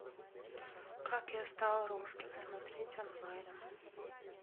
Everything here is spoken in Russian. как я стал русским смотреть онлайн